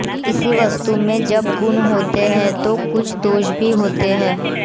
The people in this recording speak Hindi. किसी वस्तु में जब गुण होते हैं तो कुछ दोष भी होते हैं